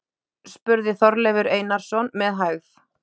spurði Þorleifur Einarsson, með hægð.